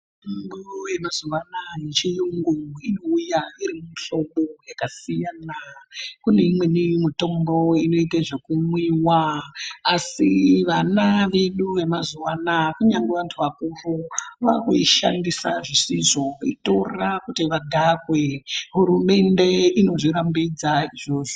Mitombo yemazuwa anaa yechiyungu inouya irimuhlobo yakasiyana. Kune imweni mutombo inoite zvekumwiwa, asi vana vedu vemazuwa anaa, kunyangwe vantu vakuru vaakuishandisa zvisizvo, veitora kuti vadhakwe. Hurumende inozvirambidza izvozvo.